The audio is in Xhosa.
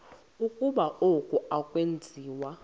ukuba oku akwenziwa